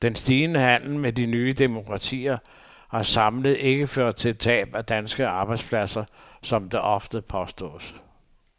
Den stigende handel med de nye demokratier har samlet ikke ført til tab af danske arbejdspladser, sådan som det ofte påstås.